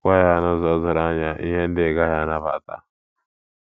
Gwa ya n’ụzọ doro anya ihe ndị ị gaghị anabata.